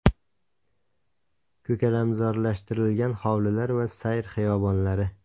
Ko‘kalamzorlashtirilgan hovlilar va sayr xiyobonlari.